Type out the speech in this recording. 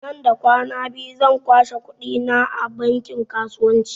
Nan da kwana biyu zan kwashe kuɗi na a bankin kasuwanci